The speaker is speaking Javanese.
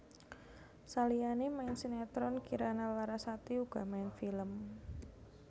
Saliyané main sinetron Kirana Larasati uga main film